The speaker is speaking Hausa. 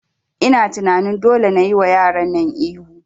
Ina tunani dole nayi wa yaran nan ihu